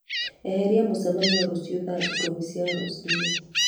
eheria mũcemanio rũciũ thaa ikũmi cia rũcinĩ